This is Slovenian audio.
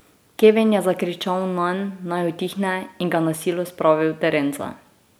Kevin je zakričal nanj, naj utihne, in ga na silo spravil v terenca.